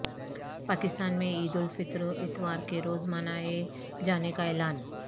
پاکستان میں عید الفطر اتوار کے روز منائے جانے کا اعلان